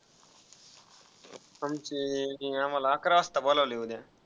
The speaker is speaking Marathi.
आमची आम्हाला वाजता बोलवलय उद्या.